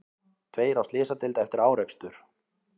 Tveir á slysadeild eftir árekstur